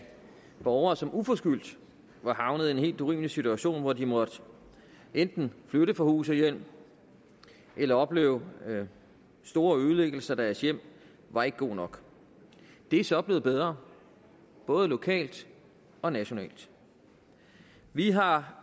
borgere som uforskyldt var havnet i en helt urimelig situation hvor de måtte enten flytte fra hus og hjem eller opleve store ødelæggelser i deres hjem var ikke god nok det er så blevet bedre både lokalt og nationalt vi har